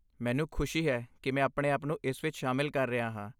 ਮੈਨੂੰ ਖੁਸ਼ੀ ਹੈ ਕਿ ਮੈਂ ਆਪਣੇ ਆਪ ਨੂੰ ਇਸ ਵਿੱਚ ਸ਼ਾਮਲ ਕਰ ਰਿਹਾ ਹਾਂ।